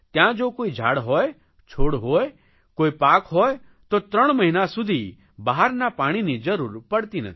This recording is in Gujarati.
ત્યાં જો કોઇ ઝાડ હોય છોડ હોય કોઇ પાક હોય તો ત્રણ મહિના સુધી બહારના પાણીની જરૂર પડતી નથી